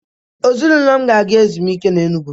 Ezịnụlo m ga-aga ezụmike na Enụ. gwu